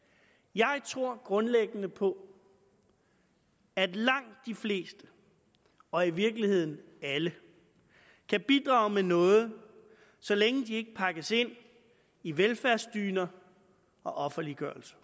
jeg tror grundlæggende på at langt de fleste og i virkeligheden alle kan bidrage med noget så længe de ikke pakkes ind i velfærdsdyner og offerliggørelse